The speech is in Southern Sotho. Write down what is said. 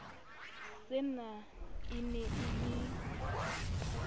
sena e ne e le